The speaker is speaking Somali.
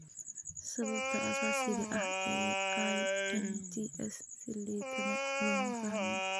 Sababta asaasiga ah ee IMTs si liidata looma fahmin.